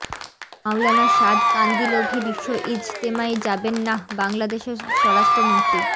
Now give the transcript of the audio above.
মাওলানা সাদ কান্দিলভি বিশ্ব ইজতেমায় যাবেন নাঃ বাংলাদেশের স্বরাষ্ট্রমন্ত্রী